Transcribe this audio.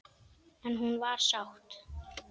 En hún var sátt.